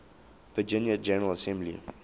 virginia general assembly